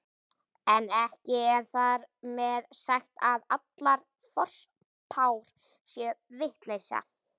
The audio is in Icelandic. En ekki er þar með sagt að allar forspár séu vitleysa.